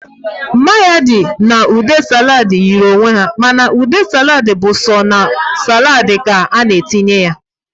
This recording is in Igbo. Mayọnais na ude saladị yi onwe ha, ma ude saladị bụ sọ na saladị ka a-na etinye ya